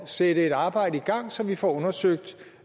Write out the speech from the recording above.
sætte et arbejde i gang så vi får undersøgt